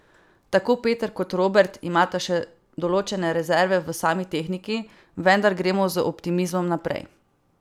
Tako Peter kot Robert imata še določene rezerve v sami tehniki, vendar gremo z optimizmom naprej.